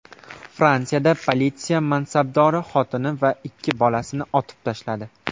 Fransiyada politsiya mansabdori xotini va ikki bolasini otib tashladi.